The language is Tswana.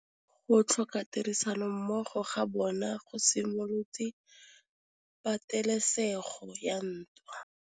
Go tlhoka tirsanommogo ga bone go simolotse patêlêsêgô ya ntwa.